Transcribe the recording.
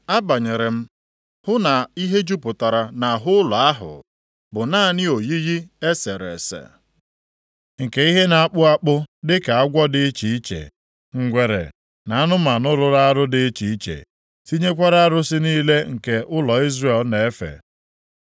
Abanyere m hụ na ihe jupụtara nʼahụ ụlọ ahụ bụ naanị oyiyi e sere ese, nke ihe na-akpụ akpụ dịka agwọ dị iche iche, ngwere na anụmanụ rụrụ arụ dị iche iche, tinyekwara arụsị niile nke ụlọ Izrel na-efe.